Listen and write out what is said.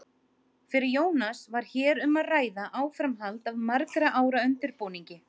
Fyrir Jónas var hér um að ræða áframhald af margra ára undirbúningi.